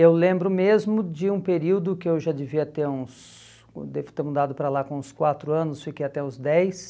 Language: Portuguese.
Eu lembro mesmo de um período que eu já devia ter uns, eu devo ter mudado para lá com uns quatro anos, fiquei até os dez,